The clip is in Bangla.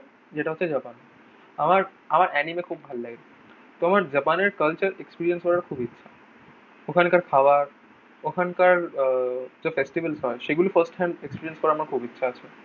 যেটা হচ্ছে জাপান। আমার আমার এনিমে খুব ভালো লাগে। তো আমার জাপানের culture experience করার খুব ইচ্ছা। ওখানকার খাওয়া ওখানকার আহ যে ফেস্টিভেলস হয় সেগুলি first hand experience করার খুব ইচ্ছা আছে।